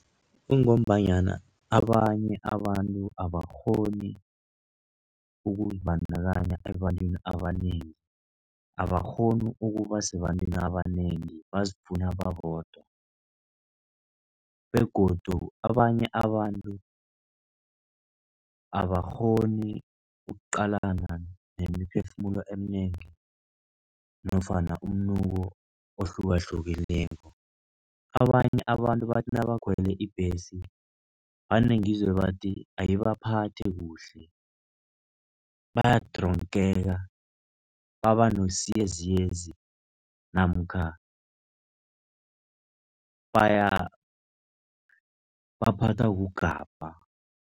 Kungombanyana abanye abantu abakghoni ukuzibandakanya ebantwini abanengi, abakghoni ukubasebantwini abanengi, bazifuna babodwa begodu abanye abantu abakghoni ukuqalana nemiphefumulo eminengi nofana umnuko ohlukahlukeneko. Abanye abantu bathi nabakhwela ibhesi vane ngizwe bathi ayibaphathi kuhle, bayadronkeka, babanesiyezi namkha baphathwa kugabha.